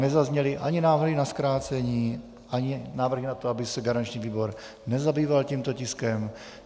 Nezazněly ani návrhy na zkrácení, ani návrhy na to, aby se garanční výbor nezabýval tímto tiskem.